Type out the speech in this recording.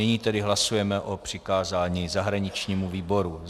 Nyní tedy hlasujeme o přikázání zahraničnímu výboru.